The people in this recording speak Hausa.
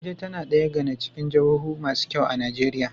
Abuja tAna daya gAna cikin jahohu masu kyau a nigeria